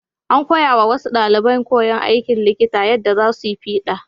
An koyawa wasu ɗaliban koyon aikin likita yadda za su yi fiɗa.